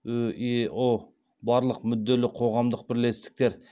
үео барлық мүдделі қоғамдық бірлестіктер